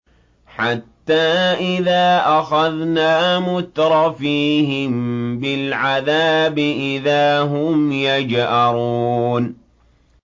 حَتَّىٰ إِذَا أَخَذْنَا مُتْرَفِيهِم بِالْعَذَابِ إِذَا هُمْ يَجْأَرُونَ